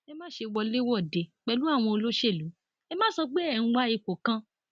ẹ má ṣe wọléwọde pẹlú àwọn olóṣèlú ẹ má sọ pé ẹ ń wá ipò kan